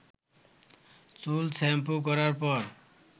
চুল শ্যাম্পু করার পর